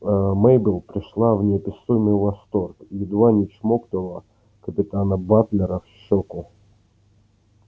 аа мейбелл пришла в неописуемый восторг едва не чмокнула капитана батлера в щёку